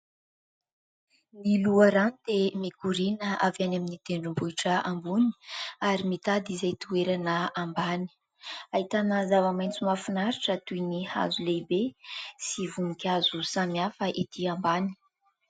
Ny loharano dia mikoriana avy any amin'ny tendrombohitra ambony ary mitady izay toerana ambany. Ahitana zava-maitso mahafinaritra toy ny hazo lehibe sy voninkazo samihafa ety ambany.